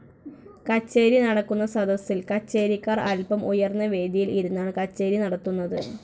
കച്ചേരി നടക്കുന്ന സദസ്സിൽ കച്ചേരിക്കാർ അല്പം ഉയർന്ന വേദിയിൽ ഇരുന്നാണ് കച്ചേരി നടത്തുന്നത്.